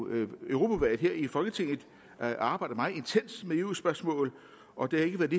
europaudvalget i folketinget arbejdet meget intenst med eu spørgsmål og det har ikke været